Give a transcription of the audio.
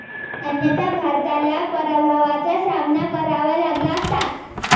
अन्यथा भारताला पराभवाचा सामना करावा लागला असता.